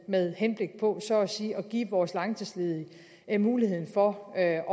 med henblik på så at sige at give vores langtidsledige muligheden for at